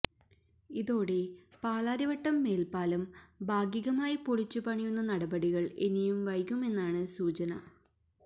ഇതോടെ പാലാരിവട്ടം മേൽപ്പാലം ഭാഗികമായി പൊളിച്ചുപണിയുന്ന നടപടികൾ ഇനിയും വൈകുമെന്നാണ് സൂചന